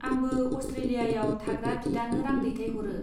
आंबो अस्ट्रेलियाआव थाग्रा बिदानो रां दैथायहरो।